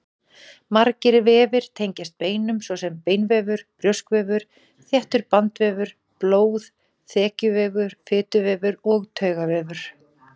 Margir vefir tengjast beinum, svo sem beinvefur, brjóskvefur, þéttur bandvefur, blóð, þekjuvefur, fituvefur og taugavefur.